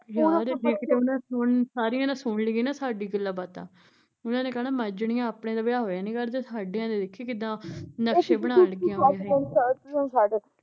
ਯਾਰ ਜੇ ਉਹਨੇ ਕਿਤੇ ਸਾਰੀਆਂ ਨੇ ਸੁਣ ਲਈਆ ਨਾ ਸਾਡੀਆ ਗੱਲਾਂ ਬਾਤਾਂ ਉਹਨਾਂ ਨੇ ਕਹਿਣਾ ਮਰਜਣੀਆਂ, ਆਪਣੇ ਤਾਂ ਵਿਆਹ ਹੋਇਆ ਨੀ ਕਰਦੇ ਸਾਡਿਆ ਦੇ ਦੇਖੀ ਕਿੱਦਾਂ ਨਕਸ਼ੇ ਬਨਾਣ ਲੱਗੀਆ ਵਾਂ ਏਹ